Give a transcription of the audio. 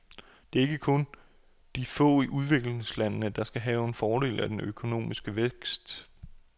Det er ikke kun de få i udviklingslandene, der skal have fordel af den økonomiske vækst.